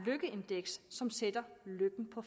lykkeindeks som sætter lykken på